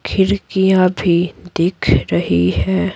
खिड़कियां भी दिख रही है।